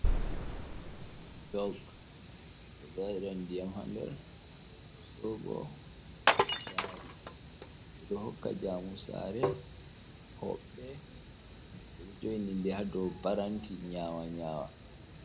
Jog ɓeɗo waɗira ndiyam ha nder, soɓo gaari, ɓeɗo hokka jaumu sare hoɓɓe ɓe ɗo jo'ini ha dou paranti nyawa nyawa.